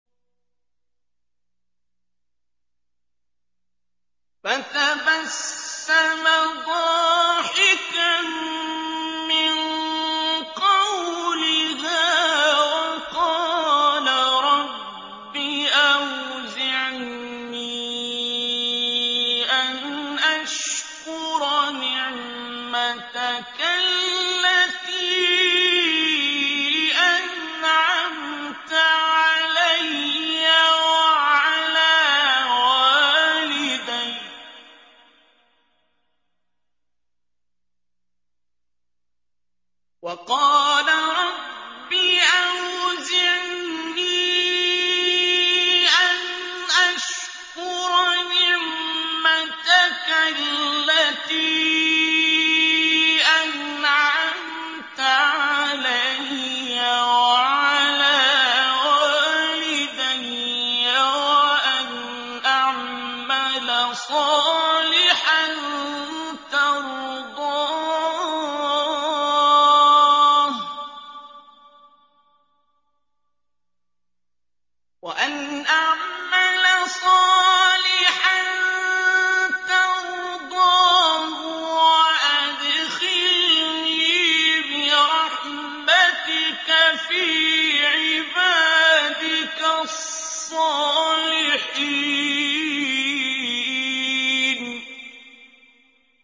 فَتَبَسَّمَ ضَاحِكًا مِّن قَوْلِهَا وَقَالَ رَبِّ أَوْزِعْنِي أَنْ أَشْكُرَ نِعْمَتَكَ الَّتِي أَنْعَمْتَ عَلَيَّ وَعَلَىٰ وَالِدَيَّ وَأَنْ أَعْمَلَ صَالِحًا تَرْضَاهُ وَأَدْخِلْنِي بِرَحْمَتِكَ فِي عِبَادِكَ الصَّالِحِينَ